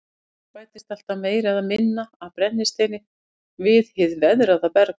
Auk þess bætist alltaf meira eða minna af brennisteini við hið veðraða berg.